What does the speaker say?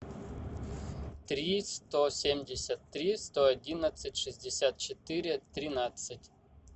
три сто семьдесят три сто одиннадцать шестьдесят четыре тринадцать